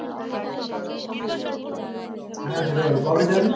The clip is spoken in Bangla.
হ্যাঁ যেতে পারি। কবে যাবি?